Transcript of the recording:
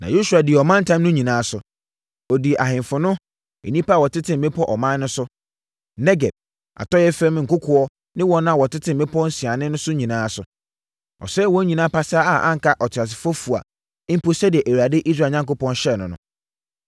Na Yosua dii ɔmantam no nyinaa so. Ɔdii ahemfo no, nnipa a wɔte mmepɔ ɔman no so, Negeb, atɔeɛ fam nkokoɔ ne wɔn a wɔte mmepɔ nsianeɛ so no nyinaa so. Ɔsɛee wɔn nyinaa pasaa a anka ɔteasefoɔ fua mpo sɛdeɛ Awurade, Israel Onyankopɔn, hyɛɛ no.